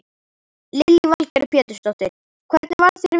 Lillý Valgerður Pétursdóttir: Hvernig varð þér við?